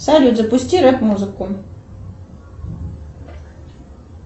салют запусти рэп музыку